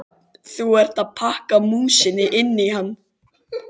Þú ert að pakka músinni inn í hann!